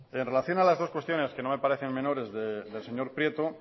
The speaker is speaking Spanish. en relación con las dos cuestiones que no me parecen menores del señor prieto